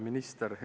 Minister!